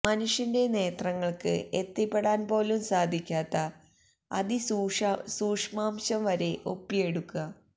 മനുഷ്യന്റെ നേത്രങ്ങൾക്ക് എത്തിപ്പെടാൻ പോലും സാധിക്കാത്ത അതി സൂക്ഷ്മാംശം വരെ ഒപ്പിയെടുക്ക